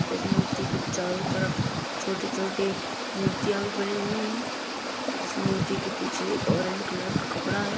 इस मूर्ति के चारों तरफ छोटी-छोटी मूर्तियां भी बनी हुई हैं और इस मूर्ति के पीछे एक ओरेंज कलर का कपड़ा है।